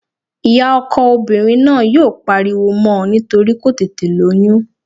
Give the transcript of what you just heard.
Ìyá ọkọ obìnrin náà yóò pariwo mọ́ nítorí kò tètè lóyún